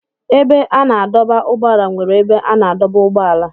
Ebe a na-adọba ụgbọala nwere ebe a na-adọba ụgbọala.